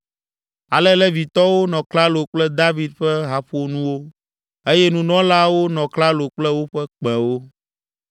Ale Levitɔwo nɔ klalo kple David ƒe haƒonuwo eye nunɔlaawo nɔ klalo kple woƒe kpẽwo.